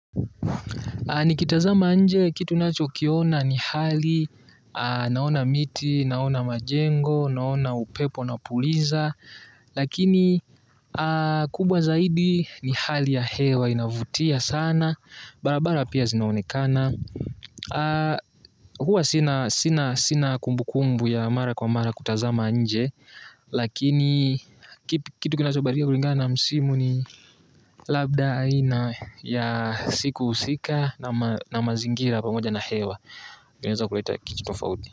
Nikitazama nje kitu nacho kiona ni hali naona miti, naona majengo, naona upepo unapuliza. Lakini kubwa zaidi ni hali ya hewa inavutia sana. Barabara pia zinaonekana. Huwa sina kumbu kumbu ya mara kwa mara kutazama nje. Lakini kitu kinacho badilika kulingana na msimu ni labda aina ya siku husika na mazingira pamoja na hewa inaeza kuleta kitu tofauti.